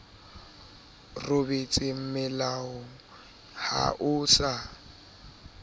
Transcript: robetse mealong ha o sa